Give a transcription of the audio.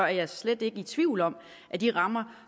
jeg slet ikke i tvivl om at de rammer